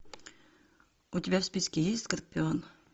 у тебя в списке есть скорпион